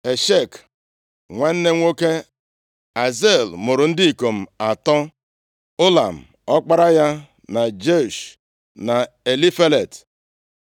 Eshek nwanne nwoke Azel mụrụ ndị ikom atọ: Ụlam, ọkpara ya na Jeush, na Elifelet.